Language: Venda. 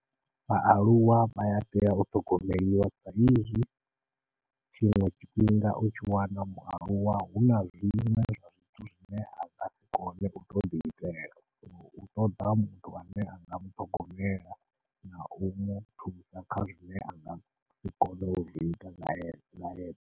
Vhaaluwa vha ya tea u ṱhogomeliwa sa izwi tshiṅwe tshifhinga u tshi wana mualuwa huna zwiṅwe zwa zwithu zwine a nga si kone uto ḓi itela, u ṱoḓa muthu ane anga muṱhogomela nau muthusa kha zwine angasi kona u zwi ita naye.